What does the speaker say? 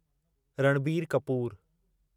Ranbir Kapoor